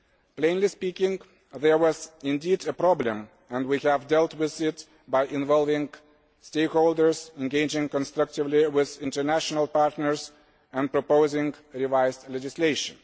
Plainly speaking, there was a problem, and we have dealt with it by involving stakeholders, engaging constructively with international partners and proposing revised legislation.